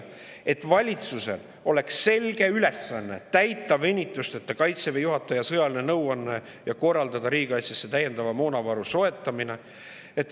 valitsusel oleks selge ülesanne täita venitusteta Kaitseväe juhataja sõjalist nõuannet ja korraldada riigikaitsesse täiendava moonavaru soetamine.